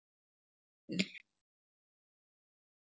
En þetta er í dag.